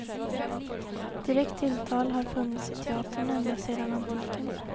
Direkt tilltal har funnits i teatern ända sedan antiken.